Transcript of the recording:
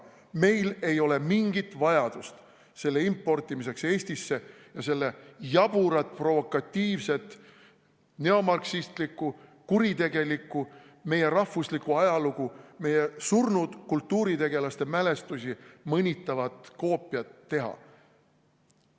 Meil ei ole mingit vajadust selle importimiseks Eestisse ja selle jaburat, provokatiivset, neomarksistlikku, kuritegelikku, meie rahvuslikku ajalugu, meie surnud kultuuritegelaste mälestusi mõnitavat koopiat teha.